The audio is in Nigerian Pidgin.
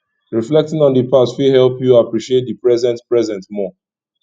reflecting on di past fit help yu appreciate di present present more